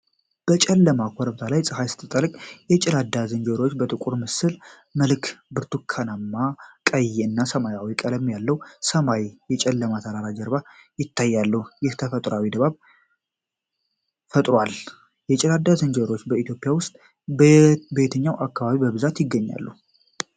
በጨለመ ኮረብታ ላይ ፀሐይ ስትጠልቅ የጌላዳ ዝንጀሮዎች በጥቁር ምስል መልክ የብርቱካናማ፣ ቀይ እና ሰማያዊ ቀለም ያለው ሰማይ ከጨለማ ተራሮች ጀርባ ይታያል፤ ይህም ተፈጥሯዊ ድባብ ፈጥሯል። የጌላዳ ዝንጀሮዎች በኢትዮጵያ ውስጥ በየትኛው አካባቢ በብዛት ይገኛሉ?